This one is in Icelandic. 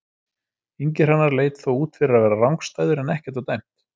Ingi Hrannar leit þó út fyrir að vera rangstæður en ekkert var dæmt.